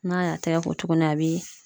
N'a y'a tɛgɛ ko tuguni a bɛ